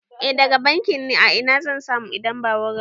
I daga bankin ne, a ina zan samu idan ba wurin ba?